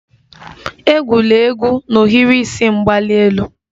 Egwula egwu n'ohiri isi mgbali elu!